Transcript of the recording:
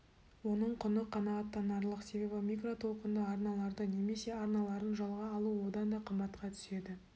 оның құны қанағаттанарлық себебі микротолқынды арналарды немесе арналарын жалға алу одан да қымбатқа түседі